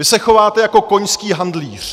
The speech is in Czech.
Vy se chováte jako koňský handlíř.